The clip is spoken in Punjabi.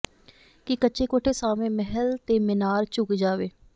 ਕਿ ਕੱਚੇ ਕੋਠੇ ਸਾਹਵੇਂ ਮਹਿਲ ਤੇ ਮੀਨਾਰ ਝੁਕ ਜਾਵੇ